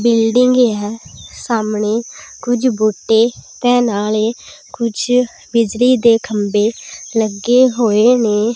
Building ਹੈ ਸਾਹਮਣੇ ਕੁਝ ਬੂਟੇ ਤੇ ਨਾਲੇ ਕੁਝ ਬਿਜਲੀ ਦੇ ਖੰਬੇ ਲੱਗੇ ਹੋਏ ਨੇ।